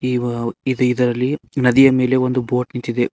ಇವ ಇದ್ ಇದ್ರಲ್ಲಿ ನದಿಯ ಮೇಲೆ ಒಂದು ಬೋಟ್ ನಿಂತಿದೆ.